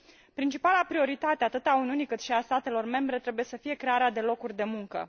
Principala prioritate, atât a Uniunii cât și a statelor membre, trebuie să fie crearea de locuri de muncă.